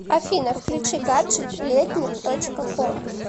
афина включи гаджет летник точка ком